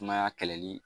Sumaya kɛlɛli